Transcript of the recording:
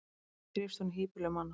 því þrífst hún í hýbýlum manna